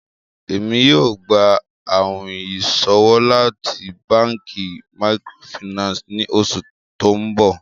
ẹ̀mi yóò gbà àwìn ìṣọwọ̀ láti bankí màkrófínànsí ní oṣù tó nbọ.